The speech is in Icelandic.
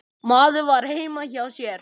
Maður var heima hjá sér.